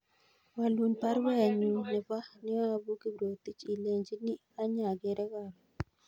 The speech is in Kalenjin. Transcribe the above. Walun baruetyun neyobu Kiprotich ilenchini anyagere koron